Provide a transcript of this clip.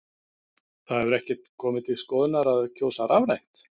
Það hefur ekkert komið til skoðunar að kjósa rafrænt?